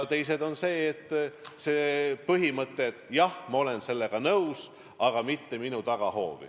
Teine takistus on see põhimõte, et jah, ma olen sellega nõus, aga mitte minu tagahoovi.